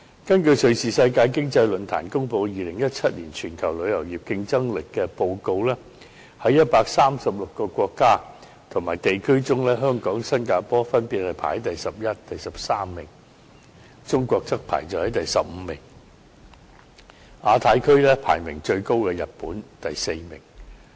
根據瑞士世界經濟論壇公布的《2017年全球旅遊業競爭力報告》，在136個國家及地區中，香港、新加坡分別排在第十一名及第十三名，中國則排在第十五名，而亞太地區排名最高的是日本，排第四名。